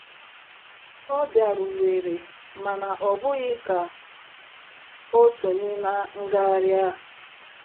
Ọ bịaruwere - mana ọ bụghị ka o sonye na ngagharị a.